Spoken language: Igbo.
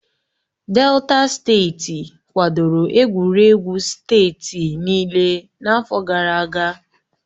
Delta steeti kwadoro egwuregwu steeti niile n'afọ gara aga